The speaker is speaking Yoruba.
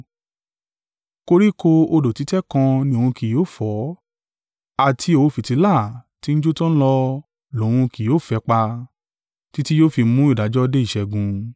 Koríko odò títẹ̀ kan ni òun kì yóò fọ́, àti òwú-fìtílà tí ń jó tan an lọ lòun kì yóò fẹ́ pa. Títí yóò fi mú ìdájọ́ dé ìṣẹ́gun.